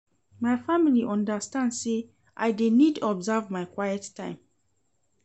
My family understand sey I dey need observe my quiet time.